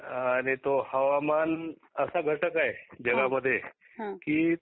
हा देतो. हवामान हा असा घटक आहे जगा मध्ये